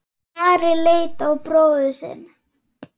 Ari leit á bróður sinn.